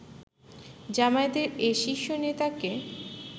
জামায়াতের এ শীর্ষ নেতাকে